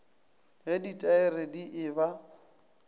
ge ditaere di e ba